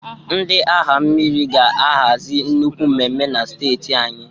Ndị agha mmiri ga ahazi nnukwu mmemme na steeti anyị